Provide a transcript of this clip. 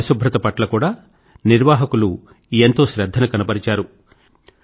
పరిశుభ్రత పట్ల కూడా నిర్వాహకులు ఎంతో శ్రధ్ధను కనబరిచారు